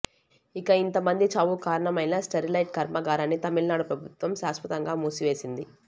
ఇక ఇంత మంది చావుకు కారణమైన స్టెరిలైట్ కర్మాగారాన్ని తమిళనాడు ప్రభుత్వం శాశ్వతంగా మూసివేసింది